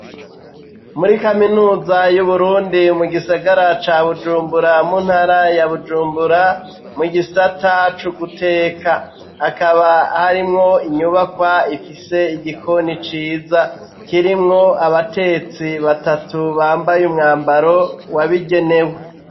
Muri kaminuza y'uburundi mu gisagara ca bujumbura, mu ntara ya bujumbura ,mu gisata cuguteka, hakaba harimwo inyubakwa ifise igikoni ciza, kirimwo abatetsi batatu, bambaye umwambaro wabigenewe.